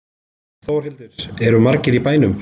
Þórhildur, eru margir í bænum?